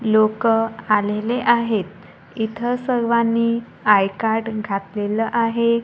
लोकं आलेले आहेत इथं सर्वांनी आय कार्ड घातलेलं आहे.